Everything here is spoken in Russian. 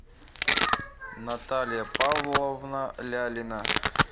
наталья павловна лялина